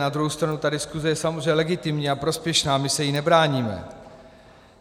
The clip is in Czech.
Na druhou stranu ta diskuse je samozřejmě legitimní a prospěšná, my se jí nebráníme.